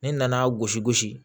Ne nana gosi gosi